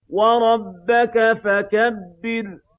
وَرَبَّكَ فَكَبِّرْ